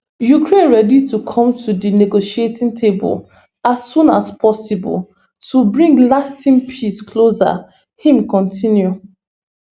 ukraine ready to come to di negotiating table as soon as possible to bring lasting peace closer im kontinu